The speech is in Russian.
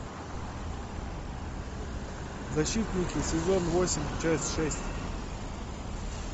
защитники сезон восемь часть шесть